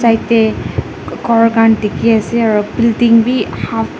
side tae khor khan dikhiase aro building bi half .